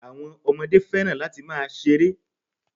Àwọn Ọmọdé fẹ́ràn láti máa ṣeré